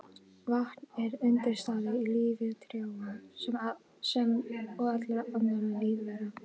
Vatn er undirstaða í lífi trjáa sem og allra annarra lífvera.